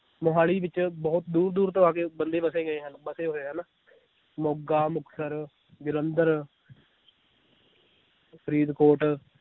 ਮੋਹਾਲੀ ਵਿਚ ਬਹੁਤ ਦੂਰ ਦੂਰ ਤੋਂ ਆ ਕੇ ਬੰਦੇ ਵਸੇ ਗਏ ਹਨ ਵਸੇ ਹੋਏ ਹਨ ਮੋਗਾ, ਮੁਕਤਸਰ, ਜਲੰਧਰ ਫਰੀਦਕੋਟ